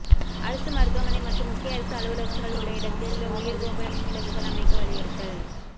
அரசுமருத்துவமனை மற்றும் முக்கிய அரசு அலுவலகங்கள் உள்ள இடத்தில் உயா்கோபுர மின்விளக்குகள் அமைக்க வலியுறுத்தல்